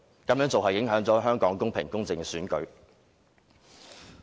他們這樣做，影響了香港公平、公正的選舉。